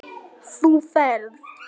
Þú ferð.